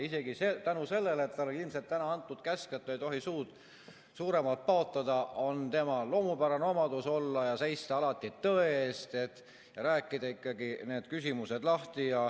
Isegi vaatamata sellele, et talle oli ilmselt täna antud käsk, et ta ei tohi suud suuremalt paotada, on tema loomupärane omadus olla ja seista alati tõe eest ja rääkida ikkagi need küsimused lahti.